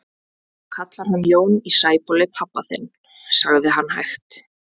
Þú kallar hann Jón í Sæbóli pabba þinn, sagði hann hægt.